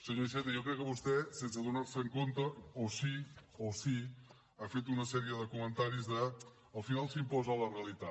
senyor iceta jo crec que vostè sense adonar se o sí o sí ha fet una sèrie de comentaris de al final s’imposa la realitat